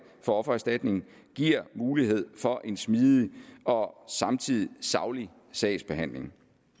for offererstatning giver mulighed for en smidig og samtidig saglig sagsbehandling